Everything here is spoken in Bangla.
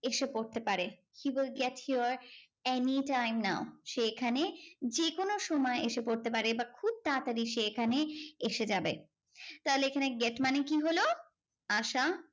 এসে পড়তে পারে he will get here anytime now সে এখানে যে কোনো সময়ে এসে পড়তে পারে বা খুব তাড়াতাড়ি সে এখানে এসে যাবে তাহলে এখানে get মানে কি হল আসা